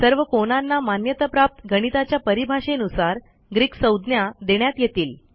सर्व कोनांना मान्यताप्राप्त गणिताच्या परिभाषेनुसार ग्रीक संज्ञा देण्यात येतील